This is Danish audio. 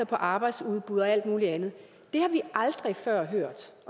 på arbejdsudbuddet og alt muligt andet det har vi aldrig før hørt